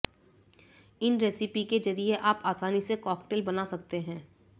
इन recipe के जरिए आप आसानी से कॉकटेल बना सकते हैं